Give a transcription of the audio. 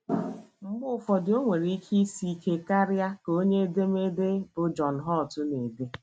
Mgbe ụfọdụ, o nwere ike isi ike karịa, ” ka onye edemede bụ́ John Holt na - ede.